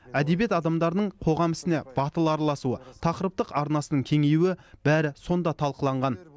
әдебиет адамдарының қоғам ісіне батыл араласуы тақырыптық арнасының кеңеюі бәрі сонда талқыланған